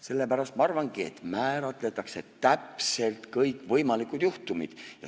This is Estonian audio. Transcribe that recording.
Sellepärast ma arvangi, et määratletakse täpselt kõik võimalikud juhtumid.